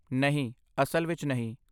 ਨਹੀਂ, ਅਸਲ ਵਿੱਚ ਨਹੀਂ।